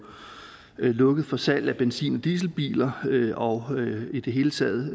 lukket for salget af benzin og dieselbiler og i det hele taget